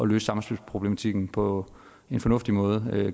løse samspilsproblematikken på en fornuftig måde